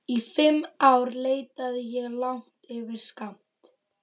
Í fimm ár leitaði ég langt yfir skammt.